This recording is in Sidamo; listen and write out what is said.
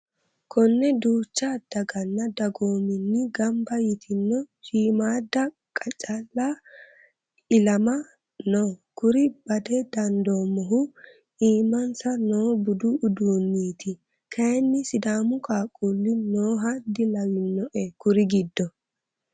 Kone duucha daganna dagoominni gamba ytino shiimada qacale ilama no kuri bada dandoommohu iimansa noo budu uduuninniti kayinni sidaamu qaaqquli nooha dilawinoe kuri giddo.